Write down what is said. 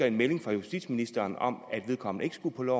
en melding fra justitsministeren om at vedkommende ikke skulle